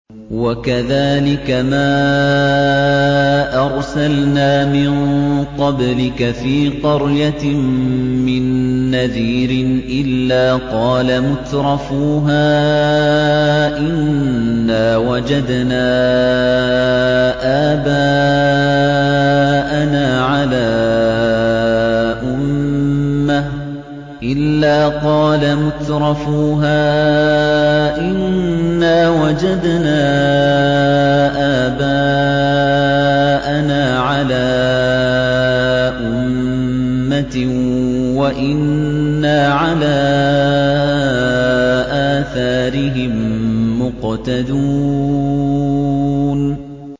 وَكَذَٰلِكَ مَا أَرْسَلْنَا مِن قَبْلِكَ فِي قَرْيَةٍ مِّن نَّذِيرٍ إِلَّا قَالَ مُتْرَفُوهَا إِنَّا وَجَدْنَا آبَاءَنَا عَلَىٰ أُمَّةٍ وَإِنَّا عَلَىٰ آثَارِهِم مُّقْتَدُونَ